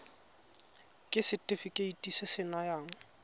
ke setefikeiti se se nayang